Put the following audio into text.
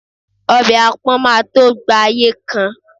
obe apon ma to gba ayé kan